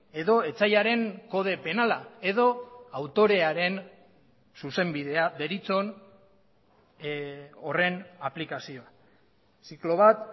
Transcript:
edo etsaiaren kode penala edo autorearen zuzenbidea deritzon horren aplikazioa ziklo bat